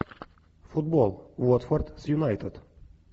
футбол уотфорд с юнайтед